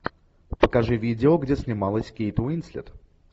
покажи видео где снималась кейт уинслет